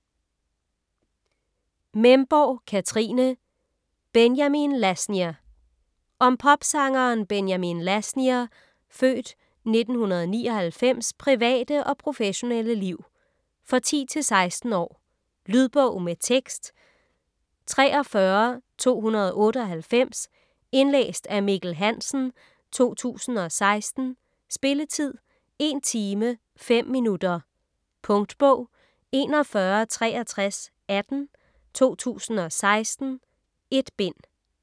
Memborg, Katrine: Benjamin Lasnier Om popsangeren Benjamin Lasnier (f. 1999) private og professionelle liv. For 10-16 år. Lydbog med tekst 43298 Indlæst af Mikkel Hansen, 2016. Spilletid: 1 timer, 5 minutter. Punktbog 416318 2016. 1 bind.